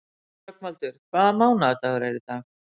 Rögnvaldur, hvaða mánaðardagur er í dag?